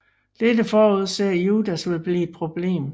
Dette forudser Judas vil blive et problem